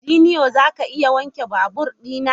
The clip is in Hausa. Junior, za ka iya wanke babur na?